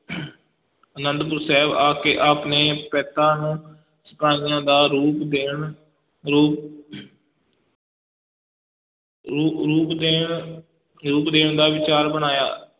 ਆਨੰਦਪੁਰ ਸਾਹਿਬ ਆ ਕੇ ਆਪ ਨੇ ਪੈਂਤਾਂ ਨੂੰ ਸਿਪਾਹੀਆਂ ਦਾ ਰੂਪ ਦੇਣ ਰੂਪ ਰੂ ਰੂਪ ਦੇਣ, ਰੂਪ ਦੇਣ ਦਾ ਵਿਚਾਰ ਬਣਾਇਆ।